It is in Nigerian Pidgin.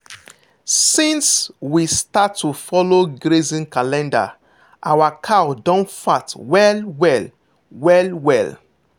since we start to follow grazing calendar our cow don fat well well. well well.